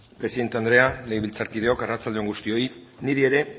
presidente anderea legebiltzarkideok arratsalde on guztioi niri ere